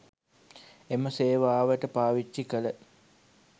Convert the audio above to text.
එම සේවාවට පාවිච්චි කළ